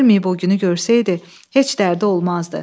Ölməyib o günü görsəydi, heç dərdi olmazdı.